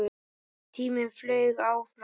Tíminn flaug áfram.